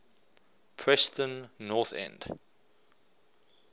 preston north end